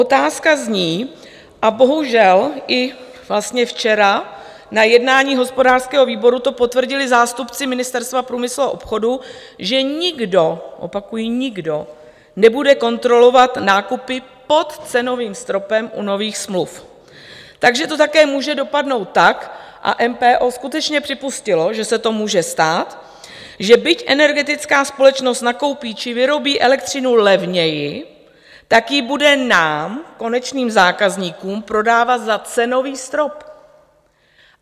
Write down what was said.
Otázka zní, a bohužel i vlastně včera na jednání hospodářského výboru to potvrdili zástupci Ministerstva průmyslu a obchodu, že nikdo, opakuji nikdo, nebude kontrolovat nákupy pod cenovým stropem u nových smluv, takže to také může dopadnout tak, a MPO skutečně připustilo, že se to může stát, že byť energetická společnost nakoupí či vyrobí elektřinu levněji, tak ji bude nám, konečným zákazníkům, prodávat za cenový strop.